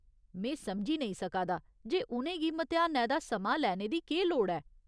में समझी नेईं सका दा जे उ'नें गी म्तेहानै दा समां लैने दी केह् लोड़ ऐ।